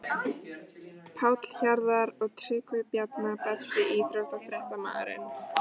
Páll Hjarðar og Tryggvi Bjarna Besti íþróttafréttamaðurinn?